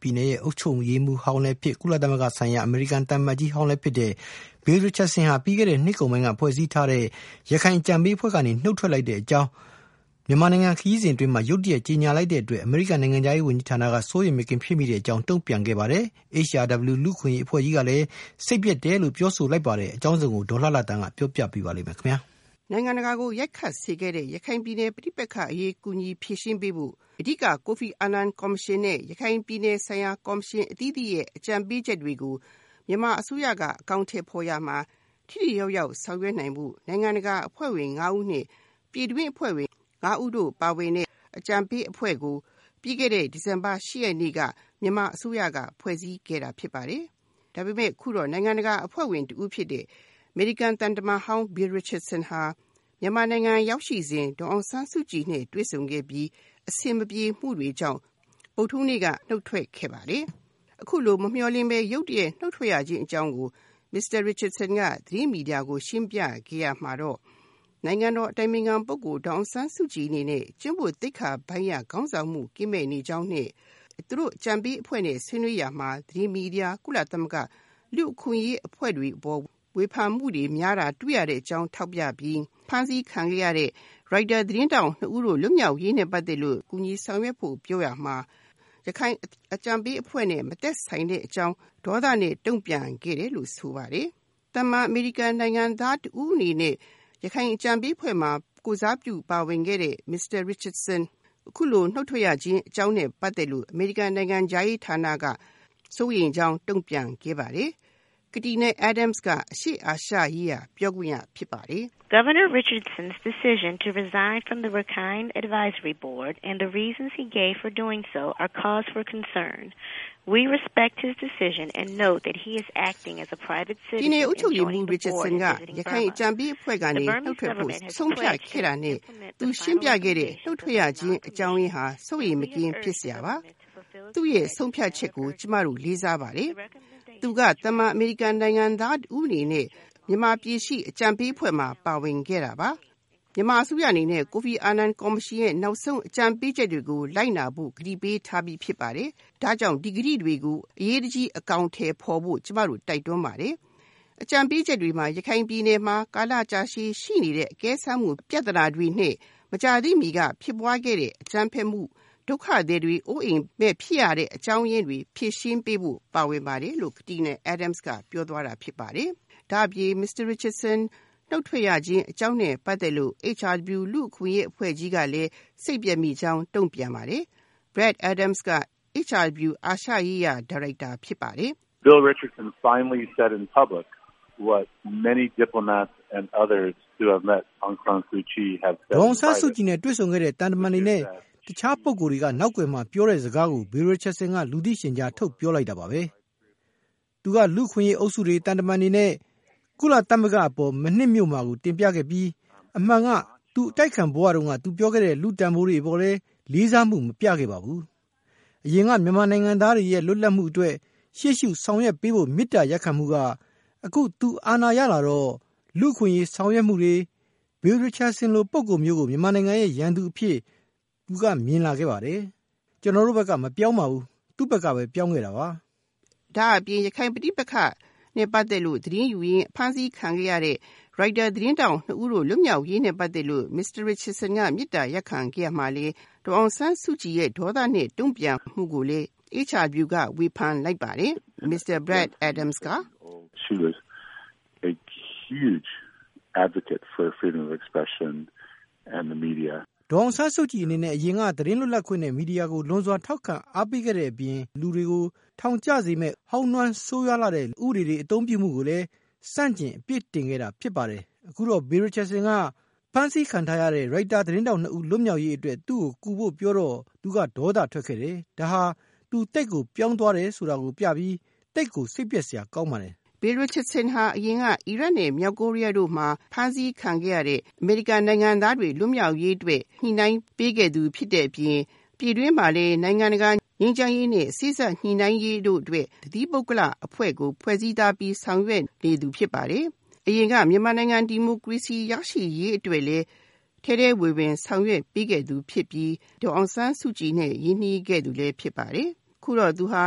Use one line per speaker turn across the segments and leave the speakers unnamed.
ပြည်နယ် အုပ်ချုပ်ရေးမှူးဟောင်းလည်းဖြစ် ကုလသမဂ္ဂဆိုင်ရာ အမေရိကန်သံအမတ်ကြီးဟောင်းလည်း ဖြစ်တဲ့ Bill Richardson ဟာ ပြီးခဲ့တဲ့ နှစ်ကုန်ပိုင်းက ဖွဲ့စည်းခဲ့တဲ့ ရခိုင်အကြံပေးအဖွဲ့ကနေ နှုတ်ထွက်တဲ့အကြောင်း မြန်မာနိုင်ငံ ခရီးစဉ် အတွင်း ရုတ်တရက် ကြေညာလိုက်တဲ့အတွက် အမေရိကန်နိုင်ငံခြားရေးဌာန က စိုးရိမ်မကင်း ဖြစ်မိကြောင်း တုန့်ပြန်ခဲ့ပါတယ်။ HRW လူ့အခွင့်အရေး အဖွဲ့ကြီးကလည်း စိတ်ပျက်မိတဲ့အကြောင်း ပြောဆိုပါတယ်။ အကြောင်းစုံကို ဒေါ်လှလှသန်းက ပြောပြပေးပါလိမ့်မယ်။
နိုင်ငံတကာကို ရိုက်ခတ်စေခဲ့တဲ့ ရခိုင်ပဋိပက္ခအရေး ကူညီဖြေရှင်းပေးဖို့ အဓိက ကိုဖီအာနန်ကော်မရှင်နဲ့ ရခိုင်ပြည်နယ်ဆိုင်ရာ ကော်မရှင်အသီးသီးရဲ့ အကြံပေးချက်တွေကို မြန်မာအစိုးရက အကောင်အထည်ဖေါ်ရာမှာ ထိထိရောက်ရောက်ဆောင်ရွက်နိုင်ဖို့ နိုင်ငံတကာအဖွဲ့ဝင် ငါးဦးနဲ့ ပြည်တွင်းအဖွဲ့ဝင် ငါးဦးတို့ပါဝင်တဲ့ အကြံပေးအဖွဲ့ကို ပြီးခဲ့တဲ့ ဒီဇင်ဘာ ၈ ရက်နေ့က မြန်မာအစိုးရက ဖွဲ့စည်းခဲ့တာဖြစ်ပါတယ်။ ဒါပေမယ့် အခုတော့ နိုင်ငံတကာအဖွဲ့ဝင်တဦးဖြစ်တဲ့ အမေရိကန်သံတမန်ဟောင်း Bill Richardson ဟာ မြန်မာနိုင်ငံရောက်ရှိစဉ် ဒေါ်အောင်ဆန်းစုကြည်နဲ့ တွေ့ဆုံခဲ့ပြီး အဆင်မပြေမှုတွေကြောင့် ဗုဒ္ဓဟူးနေ့က နှုတ်ထွက်ခဲ့ပါတယ်။ အခုလို မမျှော်လင့်ပဲ နှုတ်ထွက်ရခြင်းအကြောင်းရင်းကို မစ္စတာ Richardson က သတင်းမီဒီယာတွေကို ရှင်းပြခဲ့ရာမှာတော့ နိုင်ငံတော်အတိုင်ပင်ခံပုဂ္ဂိုလ် ဒေါ်အောင်ဆန်းစုကြည်အနေနဲ့ ကျင့်ဝတ်သိက္ခာပိုင်းအရ ခေါင်းဆောင်မှု ကင်းမဲ့နေကြောင်းနဲ့ သူတို့အကြံပေးအဖွဲ့နဲ့ ဆွေးနွေးရာမှာ သတင်းမီဒီယာ၊ ကုလသမဂ္ဂ၊ လူ့အခွင့်အရေးအဖွဲ့တွေအပေါ် ဝေဖန်မှုတွေ များတာတွေ့ရတဲ့အကြောင်း ထောက်ပြပြီး ဖမ်းဆီးခံခဲ့ရတဲ့ ရိုက်တာသတင်းထောက်နှစ်ဦး လွတ်မြောက်ရေးနဲ့ ပတ်သက်လို့ ကူညီဆောင်ရွက်ဖို့ပြောရမှာ ရခိုင်အကြံပေးအဖွဲ့နဲ့ မသက်ဆိုင်တဲ့အကြောင်း ဒေါသနဲ့ တုန့်ပြန်ခဲ့တယ်လို့ ဆိုပါတယ်။ သာမန်အမေရိကန်နိုင်ငံသားတဦးအနေနဲ့ ရခိုင်အကြံပေးအဖွဲ့မှာ ကိုယ်စားပြုပါဝင်ခဲ့တဲ့ မစ္စတာ Richardson အခုလို နှုတ်ထွက်ရခြင်းအကြောင်းရင်းနဲ့ ပတ်သက်လို့ အမေရိကန်နိုင်ငံခြားရေးဌာနက စိုးရိမ်ကြောင်း တုန့်ပြန်ခဲ့ပါတယ်။ Katina Adams က အရှေ့အာရှရေးရာ ပြောခွင့်ရဖြစ်ပါတယ်။ “ပြည်နယ်အုပ်ချုပ်ရေးမှူးဟောင်း Bill Richardson ကရခိုင်အကြံပေးအဖွဲ့ကနေ နှုတ်ထွက်ဖို့ ဆုံးဖြတ်ခဲ့တာနဲ့ သူရှင်းပြခဲ့တဲ့ နှုတ်ထွက်ရခြင်းအကြောင်းရင်းဟာ စိုးရိမ်မကင်းဖြစ်စရာပါ။ သူ့ရဲ့ ဆုံးဖြတ်ချက်ကို ကျမတို့ လေးစားပါတယ်။ သူက သာမန်အမေရိကန်နိုင်ငံသားတဦးအနေနဲ့ မြန်မာပြည်ရှိ အကြံပေးအဖွဲ့မှာ ပါဝင်ခဲ့တာပါ။ မြန်မာအစိုးရအနေနဲ့ ကိုဖီအာနန်ကော်မရှင်ရဲ့ နောက်ဆုံးအကြံပေးချက်တွေကို လိုက်နာဖို့ ကတိပေးထားပြီးဖြစ်ပါတယ်။ ဒါကြောင့် ဒီဂတိတွေကို အရေးတကြီး အကောင်အထည်ဖေါ်ဖို့ ကျမတို့ တိုက်တွန်းပါတယ်။” အကြံပေးချက်တွေမှာ ရခိုင်ပြည်နယ်မှာ ကာလကြာရှည်ရှိနေတဲ့ အကဲစမ်းမှု ပြဿနာတွေနဲ့ မကြာသေးမှီက ဖြစ်ပွားခဲ့တဲ့ အကြမ်းဖက်မှု၊ ဒုက္ခသည်တွေရဲ့ အိုးအိမ်မဲ့ဖြစ်ရတဲ့အကြောင်းရင်းတွေ ဖြေရှင်းပေးဖို့ ပါဝင်ပါတယ်လို့ Katina Adams ကပြောသွားတာဖြစ်ပါတယ်။ ဒါအပြင် မစ္စတာ Richardson နှုတ်ထွက်ရခြင်း အကြောင်းအရင်းနဲ့ ပတ်သက်လို့ HRW လူ့အခွင့်အရေးအဖွဲ့ကြီးကလည်း စိတ်ပျက်မိကြောင်းတုန့်ပြန်ပါတယ်။ Brad Adams က HRW အာရှရေးရာ ညွန်ကြားရေးမှူးဖြစ်ပါတယ်။
“ဒေါ်အောင်ဆန်းစုကြည်နဲ့ တွေ့ဆုံခဲ့တဲ့ သံတမန်တွေနဲ့ တခြားပုဂ္ဂိုလ် တွေက နောက်ကွယ်မှာ ပြောတဲ့ စကားကို Bill Richardson က လူသိရှင်ကြား ထုတ်ပြောလိုက်တာပါပဲ။ သူက လူ့အခွင့်အရေး အုပ်စုတွေ၊ သံတမန်တွေနဲ့ ကုလသမဂ္ဂ အပေါ် မနှစ်မြို့မှာကို တင်ပြခဲ့ပြီး၊ အမှန်က သူအတိုက်အခံဘဝ တုန်းက သူပြောခဲ့တဲ့ လူ့တန်ဖိုးတွေ အပေါ်လဲ လေးစားမှုကို မပြခဲ့ပါဘူး။ အရင်က မြန်မာနိုင်ငံသားတွေရဲ့ လွတ်လပ်မှုအတွက် ရှေ့ရှု ဆောင်ရွက်ပေးဖို့ မေတ္တာရပ်ခံမှုက အခု သူအာဏာရလာတော့ လူ့အခွင့်အရေး ဆောင်ရွက်မှုတွေ၊ Bill Richardson လို ပုဂ္ဂိုလ်မျိုးကို မြန်မာနိုင်ငံရဲ့ ရန်သူအပြင် သူက မြင်လာခဲ့တယ်။ ကျွန်တော်တို့ ဘက်က မပြောင်းပါဘူး သူ့ဘက်ကပဲ ပြောင်းခဲ့တာပါ။” ဒါအပြင် ရခိုင်ပဋိပက္ခနဲ့ ပတ်သက်လို့ သတင်းယူရင်း ဖမ်းဆီး
ခံခဲ့ရတဲ့ ရိုက်တာသတင်းထောက် နှစ်ဦး လွတ်မြောက်ရေးနဲ့ ပတ်သက်လို့ မစ္စတာ Richardson က မေတ္တာရပ်ခံခဲ့ရာမှာလည်း ဒေါ်အောင်ဆန်းစုကြည်ရဲ့ ဒေါသနဲ့ တုန့်ပြန်မှုကိုလည်း HRW ကဝေဖန်လိုက်ပါတယ်။ “ဒေါ်အ
ောင်ဆန်းစုကြည်အနေနဲ့ အရင်က သတင်းလွတ်လပ်ခွင့်နဲ့ မီဒီယာကို လွန်စွာ ထောက်ခံ အားပေးခဲ့တဲ့ အပြင် ဟောင်းနွမ်း ဆိုးဝါးလှတဲ့ လူတွေကို ထောင်ကျစေမယ့် ဥပဒေတွေ အသုံးပြုမှုကို ဆန့်ကျင် အပစ်တင်ခဲ့တာ ဖြစ်ပါတယ်။ အခုတော့ Bill Richardson လို လူမျိုးက အဖမ်းဆီးခံ ထားရတဲ့ ရိုက်တာ သတင်းထောက် ၂ ဦး လွတ်မြောက်ရေး အတွက် သူ့ကို ကူဖို့ ပြောတော့ သူက ဒေါသ ထွက်ခဲ့တယ်။ ဒါဟာ သူသိပ်ကို ပြောင်းသွားတယ် ဆိုတာ ပြပြီး၊ သိပ်ကို စိတ်ပျက်စရာပါ။”
Bill Richardson ဟာ အရင်က အီရတ်နဲ့ မြောက်ကိုရီးယားတို့မှာ ဖမ်းဆီးခံခဲ့ရတဲ့ အမေရိကန်နိုင်ငံသားတွေ လွတ်မြောက်ရေးအတွက် ညှိုနှိုင်းပေးခဲ့သူဖြစ်တဲ့အပြင် ပြည်တွင်းမှာလည်း နိုင်ငံတကာငြိမ်းချမ်းရေးနဲ့ စေ့စပ်ညှိုနှိုင်းရေးတို့အတွက် တသီးပုဂ္ဂလိက အဖွဲ့ကို ဖွဲ့စည်းထားပြီး ဆောင်ရွက်နေသူဖြစ်ပါတယ်။ အရင်က မြန်မာနိုင်ငံ ဒီမိုကရေစီရရှိရေးအတွက်လည်း ထဲထဲဝင်ဝင် ဆောင်ရွက်ပေးခဲ့သူဖြစ်ပြီး ဒေါ်အောင်ဆန်းစုကြည်နဲ့ ရင်းနှီးခဲ့သူလည်းဖြစ်ပါတယ်။ ခုတော့ သူဟာ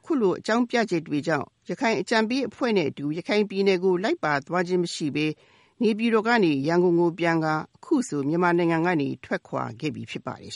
အခုလို အကြောင်းပြချက်တွေကြောင့် ရခိုင်အကြံပေးအဖွဲ့နဲ့အတူ ရခိုင်ပြည်နယ်ကို လိုက်ပါသွားခြင်းမရှိပဲ နေပြည်တော်ကနေ ရန်ကုန်ကိုပြန်ကာ အခုဆို မြန်မာနိုင်ငံကနေ ထွက်ခွာခဲ့ပြီ ဖြစ်ပါတယ်